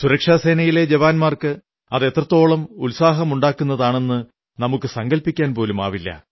സുരക്ഷാസേനയിലെ ജവാന്മാർക്ക് അത് എത്രത്തോളം ഉത്സാഹമുണ്ടാക്കുന്നതാണെന്നു നമുക്കു സങ്കല്പിക്കാൻ പോലുമാവില്ല